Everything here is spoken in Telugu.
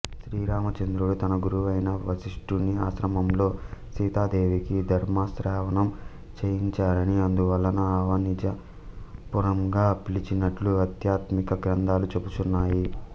శ్రీరామచంద్రుడు తన గురువైన వశిష్టుని ఆశ్రమంలో సీతాదేవికి ధర్మశ్రవణం చేయించారని అందువలన అవనిజాపురంగా పిలిచినట్లు ఆధ్యాత్మిక గ్రంథాలు చెబుచున్నాయి